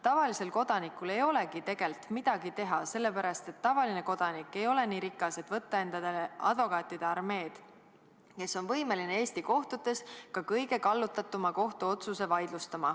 Tavalisel kodanikul ei olegi tegelikult midagi teha, sellepärast et tavaline kodanik ei ole nii rikas, et võtta endale advokaatide armeed, kes on võimeline Eesti kohtutes ka kõige kallutatuma kohtuotsuse vaidlustama.